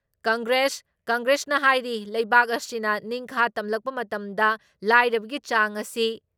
ꯀꯪꯒ꯭ꯔꯦꯁ ꯀꯪꯒ꯭ꯔꯦꯁꯅ ꯍꯥꯏꯔꯤ ꯂꯩꯕꯥꯛ ꯑꯁꯤꯅ ꯅꯤꯡꯈꯥ ꯇꯝꯂꯛꯄ ꯃꯇꯝꯗ ꯂꯥꯏꯔꯕꯒꯤ ꯆꯥꯡ ꯑꯁꯤ